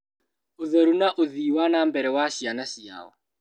Ũtheru, na ũthii wa na mbere wa ciana ciao